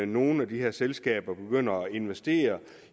nogle af de her selskaber begynder at investere